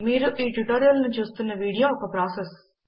మీరు ఈ ట్యుటోరియల్ ను చూస్తున్న వీడియో ఒక ప్రాసెస్